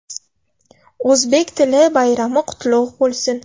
O‘zbek tili bayrami qutlug‘ bo‘lsin!